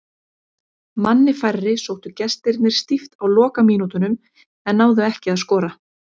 Manni færri sóttu gestirnir stíft á lokamínútunum en náðu ekki að skora.